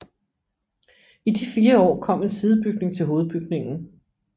I de fire år kom en sidebygning til hovedbygningen